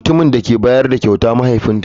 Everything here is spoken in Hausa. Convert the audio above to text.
Mutumin da ke bayar da kyautar mahaifinta ne.